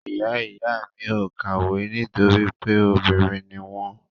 Ìyá ìyá mi ò kàwé nítorí pé obìnrin ni wọ́n.